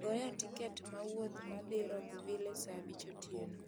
goya tiket ma wuoth ma dhi Rockville saa abich otieno